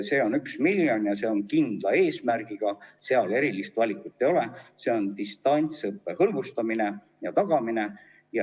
See on üks miljon ja see on kindla eesmärgiga, seal erilist valikut ei ole, see on mõeldud distantsõppe hõlbustamiseks ja tagamiseks.